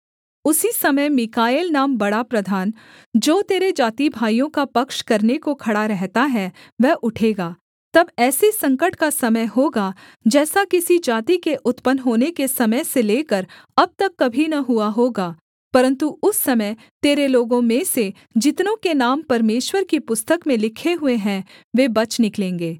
उसी समय मीकाएल नाम बड़ा प्रधान जो तेरे जातिभाइयों का पक्ष करने को खड़ा रहता है वह उठेगा तब ऐसे संकट का समय होगा जैसा किसी जाति के उत्पन्न होने के समय से लेकर अब तक कभी न हुआ होगा परन्तु उस समय तेरे लोगों में से जितनों के नाम परमेश्वर की पुस्तक में लिखे हुए हैं वे बच निकलेंगे